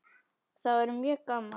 Það væri mjög gaman.